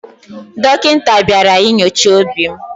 Dọkịta bịara inyocha obi m.